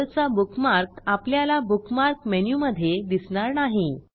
Google चा bookmark आपल्याला bookmark मेनूमधे दिसणार नाही